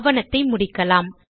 ஆவணத்தை முடிக்கலாம்